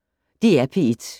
DR P1